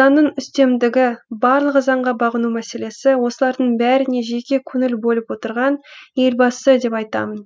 заңның үстемдігі барлығы заңға бағыну мәселесі осылардың бәріне жете көңіл бөліп отырған елбасы деп айтамын